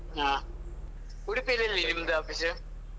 ಆಹ್ ಉಡುಪಿಲಿ ಎಲ್ಲಿ ನಿಮ್ದು office ?